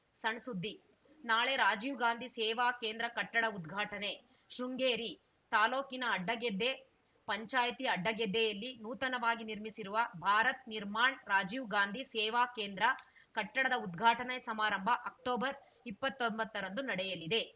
ಸಣ್‌ ಸುದ್ದಿ ನಾಳೆ ರಾಜೀವ್‌ ಗಾಂಧಿ ಸೇವಾ ಕೇಂದ್ರ ಕಟ್ಟಡ ಉದ್ಘಾಟನೆ ಶೃಂಗೇರಿ ತಾಲೂಕಿನ ಅಡ್ಡಗೆದ್ದೆ ಪಂಚಾಯಿತಿ ಅಡ್ಡಗೆದ್ದೆಯಲ್ಲಿ ನೂತನವಾಗಿ ನಿರ್ಮಿಸಿರುವ ಭಾರತ್‌ ನಿರ್ಮಾಣ್‌ ರಾಜೀವ್ ಗಾಂಧಿ ಸೇವಾ ಕೇಂದ್ರ ಕಟ್ಟಡದ ಉದ್ಘಾಟನಾ ಸಮಾರಂಭ ಅಕ್ಟೊಬರ್ಇಪ್ಪತೊಂಬತ್ತ ರಂದು ನಡೆಯಲಿದೆ